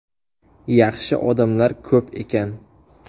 Yaxshi odamlar ko‘p ekan.